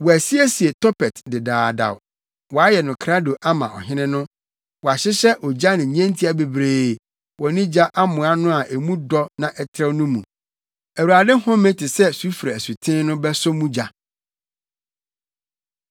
Wɔasiesie Topet dedaada; wɔayɛ no krado ama ɔhene no. Wɔahyehyɛ ogya ne nnyentia bebree wɔ ne gya amoa no a emu dɔ na ɛtrɛw no mu; Awurade home te sɛ sufre asuten no bɛsɔ mu gya.